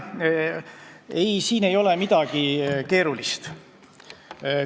Ei, siin ei ole midagi keerulist.